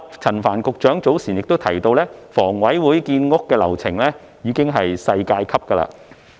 陳帆局長早前亦提到，房委會建屋的流程已經是世界級。